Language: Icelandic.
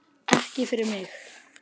Ekki fyrir mig